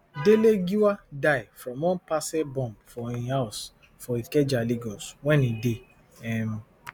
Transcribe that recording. dele giwa die from one parcel bomb for im house for ikeja lagos wen e dey um